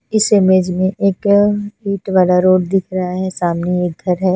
इस इमेज में एक मिट्टी वाला रोड दिख रहा है सामने एक घर है ।